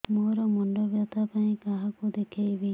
ମୋର ମୁଣ୍ଡ ବ୍ୟଥା ପାଇଁ କାହାକୁ ଦେଖେଇବି